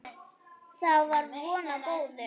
Þá var von á góðu.